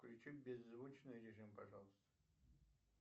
включи беззвучный режим пожалуйста